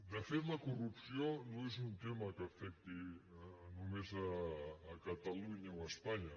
de fet la corrupció no és un tema que afecti només catalunya o espanya